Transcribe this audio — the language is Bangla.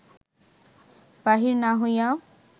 বাহির না হইয়া